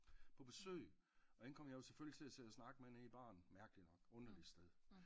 På besøg og hende kom jeg jo selvfølgelig til at sidde og snakke nede i baren mærkeligt nok underligt sted